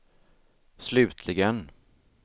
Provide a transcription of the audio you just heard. slutligen